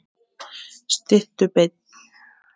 Sittu beinn.